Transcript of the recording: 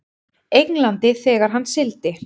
Englandi þegar hann sigldi.